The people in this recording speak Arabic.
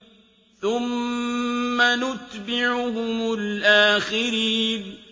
ثُمَّ نُتْبِعُهُمُ الْآخِرِينَ